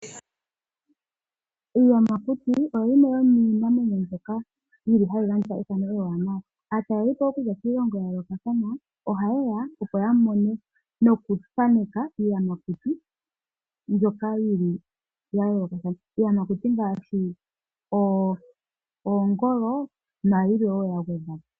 Iiyamakuti oyo yimwe yomiinamwenyo mbyoka hayi gandja ethano li li nawa. Aatalelipo okuza kiilongo ya yooloka ohaye ya, opo ya mone nokuthaneka iiyamakuti mbyoka ya yoolokathana, iiyamakuti ngaashi oongolo nayilwe woo ya gwedhwa po.